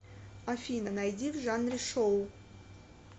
афина найди в жанре шоу